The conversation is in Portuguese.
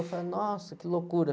Eu falei, nossa, que loucura.